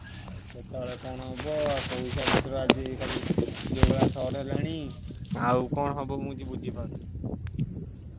ଆଉ କେତବେଳେ କଣ ହବ ପଇସା ପତ୍ର ଆଜି କଲି ଯୋଉ ଭଳିଆ short ହେଲାଣି ଆଉ କଣ ହବ ମୁଁ ବୁଝି ପାରୁନି। ।